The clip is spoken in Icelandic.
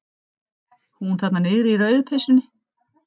Hún þarna niðri í rauðu peysunni.